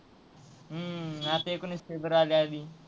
हम्म आता एकोणवीस फेब्रुवारी आली.